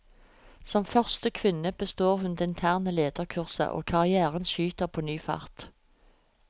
Som første kvinne består hun det interne lederkurset, og karrièren skyter på ny fart.